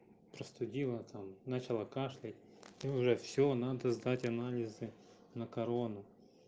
простудила там начала кашлять и уже всё надо сдать анализы на корону